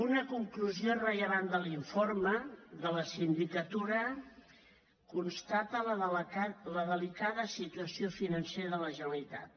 una conclusió rellevant de l’informe de la sindicatura constata la delicada situació financera de la generalitat